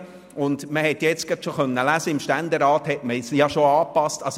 Man konnte jetzt gerade lesen, dass der Ständerat das jetzt schon angepasst hat.